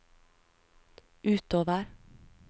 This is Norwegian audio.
utover